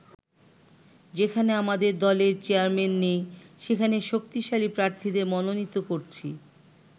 যেখানে আমাদের দলের চেয়ারম্যান নেই, সেখানে শক্তিশালী প্রার্থীদের মনোনীত করছি।